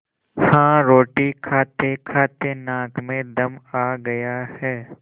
हाँ रोटी खातेखाते नाक में दम आ गया है